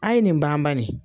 A ye nin ban bani.